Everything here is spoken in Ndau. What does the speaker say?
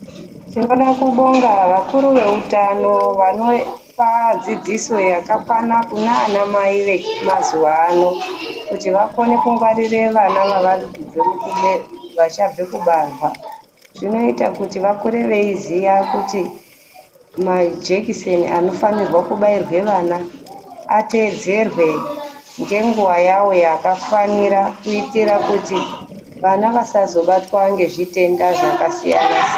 Tinoda kubonga vakuru veutano vanopa dzidziso yakakwana kunanamai vemazuwa ano kuti vakone kungwarire vana vavari kubve, vachabve kubarwa. Zvinoite kuti vakure veyiiziya kuti maijekiseni anofanirwa kubairwe vana, ateedzerwe ngenguva yawo yakafanira kuitira kuti vana vasazobatwa ngezvitenda zvakasiyana-siyana.